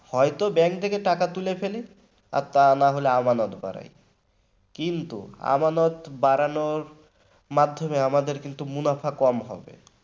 হয়তো bank থেকে টাকা তুলে ফেলি আর তা না হলে আমানত বাড়ায় কিন্তু আমানত বাড়ানোর মাধ্যমে আমাদের মুনাফা কম হবে